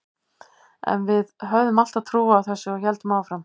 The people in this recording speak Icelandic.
En við höfðum alltaf trú á þessu og héldum áfram.